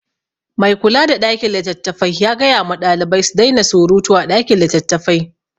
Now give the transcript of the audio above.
Mai kula da ɗakin littattafai ya gaya ma ɗalibai su daina suruta a ɗakin littattafai.